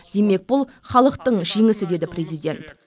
демек бұл халықтың жеңісі деді президент